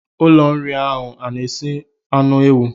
Ụlọ nri ahụ ọ na-esi anụ ewu?